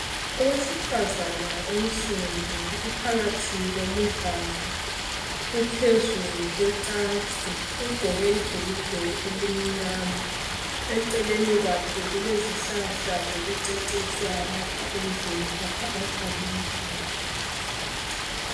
owesifazana onsundu uphakathi komudlalo uphezu kwecansi ugqoke ibhulugwe elimnyama eceleni kwakhe kulezihlahla zokucecisa lapha endlini lapha ahlalela khona